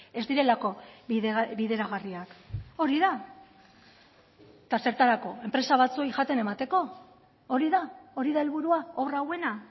ez direlako bideragarriak hori da eta zertarako enpresa batzuei jaten emateko hori da hori da helburua obra hauena